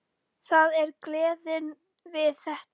Það er gleðin við þetta.